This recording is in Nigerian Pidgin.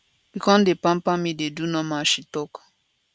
e go come dey pamper me dey do normal she tok